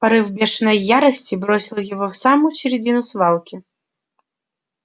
порыв бешеной ярости бросил его в самую середину свалки